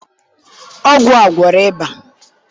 ọgwụ a gwọrọ ịba?